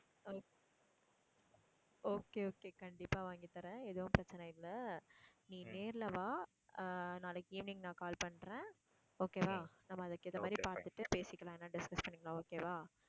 okay, okay கண்டிப்பா வாங்கி தர்றேன். எதுவும் பிரச்சனை இல்லை. நீ நேர்ல வா அஹ் நாளைக்கு evening நான் call பண்றேன் okay வா. நம்ம அதுக்கு ஏத்த மாதிரி பார்த்துட்டு பேசிக்கலாம் discuss பண்ணிக்கலாம் okay வா